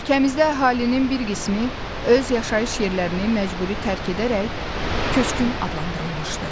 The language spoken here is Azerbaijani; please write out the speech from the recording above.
Ölkəmizdə əhalinin bir qismi öz yaşayış yerlərini məcburi tərk edərək köçkün adlandırılmışdı.